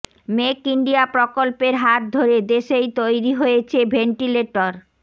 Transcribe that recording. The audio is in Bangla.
মেক ইন্ডিয়া প্রকল্পের হাত ধরে দেশেই তৈরি হয়েছে ভেন্টিলেটর